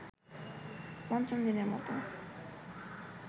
পঞ্চম দিনের মতো